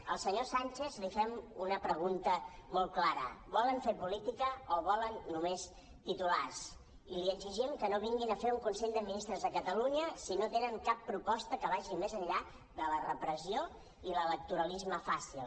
al senyor sánchez li fem una pregunta molt clara volen fer política o volen no·més titulars i li exigim que no vinguin a fer un consell de ministres a catalunya si no tenen cap proposta que vagi més enllà de la repressió i l’electoralisme fàcil